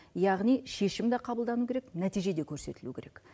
яғни шешім де қабылдануы керек нәтиже де көрсетілуі керек